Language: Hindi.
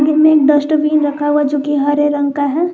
सामने एक डस्टबिन रखा हुआ जो कि हरे रंग का है।